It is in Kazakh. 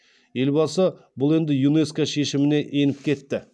елбасы бұл енді юнеско шешіміне еніп кетті